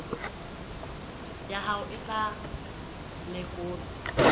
ya hao e tla lekolwa